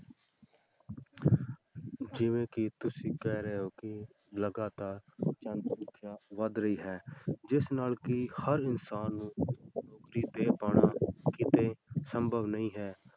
ਜਿਵੇਂ ਕਿ ਤੁਸੀਂ ਕਹਿ ਰਹੇ ਹੋ ਕਿ ਲਗਾਤਾਰ ਜਨਸੰਖਿਆ ਵੱਧ ਰਹੀ ਹੈ ਜਿਸ ਨਾਲ ਕਿ ਹਰ ਇਨਸਾਨ ਨੂੰ ਨੌਕਰੀ ਦੇ ਪਾਉਣਾ ਕਿਤੇ ਸੰਭਵ ਨਹੀਂ ਹੈ।